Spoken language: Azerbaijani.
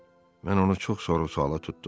Mən onu çox soru-suala tutdum.